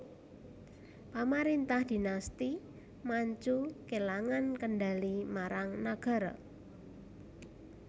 Pamarentah Dhinasti Manchu kelangan kendhali marang nagara